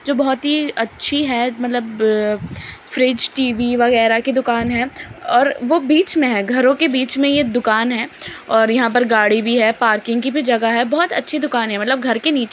जो बहुत ही अच्छी है मतलब ब फ्रिज टी.वी वगैरह की दुकान है। और वो बीच में है घरो के बीच में ये दुकान है और यहाँ पर गाड़ी भी है पार्किंग की भी जगह है बहुत अच्छी दुकान है मतलब घर के नीचे --